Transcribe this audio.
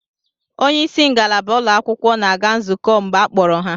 Onye isi ngalaba ụlọakwụkwọ na-aga nzukọ mgbe a kpọrọ ha